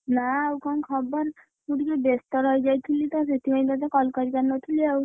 ନାଁ ଆଉ କଣ ଖବର ମୁଁ ଟିକେ ବେସ୍ତ ରହିଯାଇଥିଲି ତ ସେଥିପାଇଁ ତତେ call କରିପାରିନଥିଲି ଆଉ,